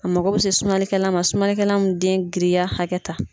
A mako bɛ se sumanlikɛla man, sumanlikɛla mun den giriya hakɛta.